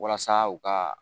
Walasa u ka